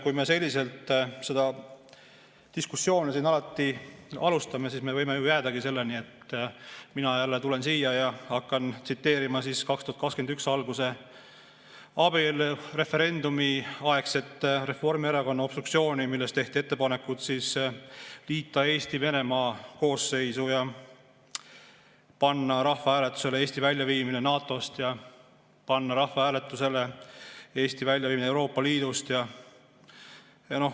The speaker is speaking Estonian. Kui me selliselt seda diskussiooni siin alati alustame, siis me võime jäädagi selle juurde, et mina jälle tulen siia ja hakkan rääkima 2021. aasta alguse, abielureferendumiaegsest Reformierakonna obstruktsioonist, kui tehti ettepanekud liita Eesti Venemaa koosseisu, panna rahvahääletusele Eesti väljaviimine NATO‑st ja panna rahvahääletusele Eesti väljaviimine Euroopa Liidust.